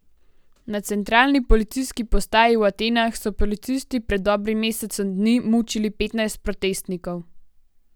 Na centralni policijski postaji v Atenah so policisti pred dobrim mesecem dni mučili petnajst protestnikov.